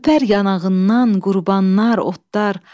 Öpər yanağından qurbanlar, otlar,